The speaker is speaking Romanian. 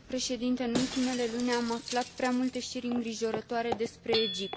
În ultimele luni am aflat prea multe știri îngrijorătoare despre Egipt.